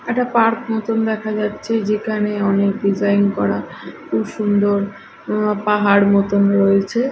একটা পার্ক মতন দেখা যাচ্ছে যেখানে অনেক ডিজাইন করা খুব সুন্দর পাহাড় মতন রয়েছে।